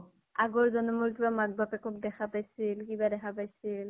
আগৰ জন্মৰ কিবা মাক বাপেকক দেখা পাইছিল । কিবা দেখা পাইছিল